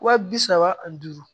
Wa bi saba ani duuru